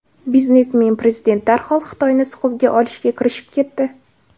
Biznesmen prezident darhol Xitoyni siquvga olishga kirishib ketdi.